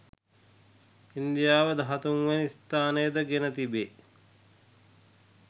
ඉන්දියාව දහතුන් වැනි ස්ථානය ද ගෙන තිබේ